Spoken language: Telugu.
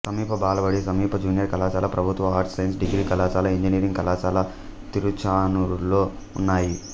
సమీప బాలబడి సమీప జూనియర్ కళాశాల ప్రభుత్వ ఆర్ట్స్ సైన్స్ డిగ్రీ కళాశాల ఇంజనీరింగ్ కళాశాల తిరుచానూరులో ఉన్నాయి